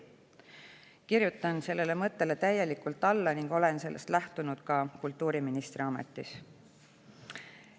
" Kirjutan sellele mõttele täielikult alla ning olen sellest lähtunud ka kultuuriministri ametis.